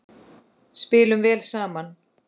Spilum vel saman.